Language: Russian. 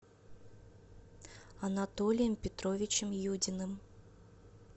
анатолием петровичем юдиным